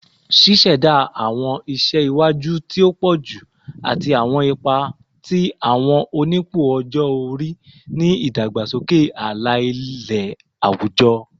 Ṣiṣẹda awọn iṣẹ iwaju ti o pọju ati awọn ipa ti awọn onipò ọjọ-ori ni idagbasoke ala-ilẹ awujọ